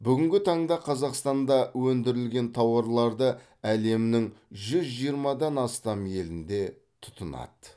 бүгінгі таңда қазақстанда өндірілген тауарларды әлемнің жүз жиырмадан астам елінде тұтынады